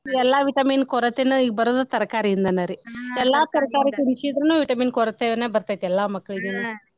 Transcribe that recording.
ಇವೆಲ್ಲಾ ವಿಟಮಿನ್ ಕೊರತೆನ್ ಈಗ್ ಬರೋದು ತರಕಾರಿಯಿಂದನರಿ ಎಲ್ಲಾ ತರಕಾರಿ ತಿನ್ಸಿದ್ರನು ವಿಟಮಿನ್ ಕೊರತೆಯನ ಬರ್ತೆತಿ ಎಲ್ಲಾ ಮಕ್ಳಿಗುನು .